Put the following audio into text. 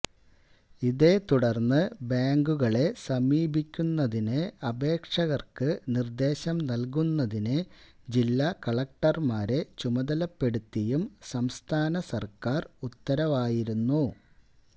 ഇതേത്തുടര്ന്ന് ബാങ്കുകളെ സമീപിക്കുന്നതിനു അപേക്ഷകര്ക്ക് നിര്ദേശം നല്കുന്നതിനു ജില്ലാ കലക്ടര്മാരെ ചുമതലപ്പെടുത്തിയും സംസ്ഥാന സര്ക്കാര് ഉത്തരവായിരുന്നു